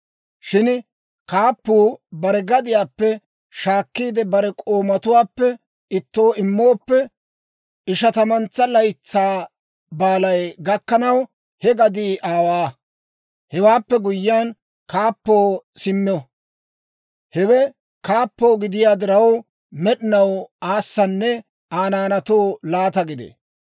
Shin kaappuu bare gadiyaappe shaakkiide, bare k'oomatuwaappe ittoo immooppe, Ishatamantsa Laytsaa baalay gakkanaw, he gadii aawaa. Hewaappe guyyiyaan, kaappoo simmo; hewe kaappoo gidiyaa diraw, med'inaw aassanne Aa naanaatoo laataa gidee.